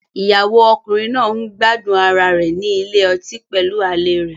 Ìyàwó ọkùnrin náà ń gbádùn ara rẹ̀ ní ilé ọtí pẹ̀lú àlè rẹ̀.